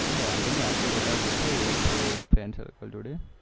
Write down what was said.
વાંધો નઈ અપડે બધા ગોઠવીએ તો FRIENDCIRCLE જોડે